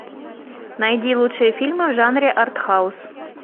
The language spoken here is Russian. найди лучшие фильмы в жанре артхаус